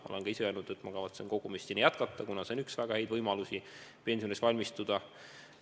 Ma olen ka ise öelnud, et ma kavatsen sinna kogumist jätkata, kuna see on üks väga häid võimalusi pensioniks valmistuda.